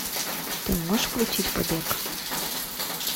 ты можешь включить побег